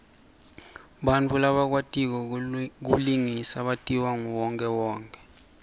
bantfu labakwatiko kulingisa batiwa nguwonkhewonkhe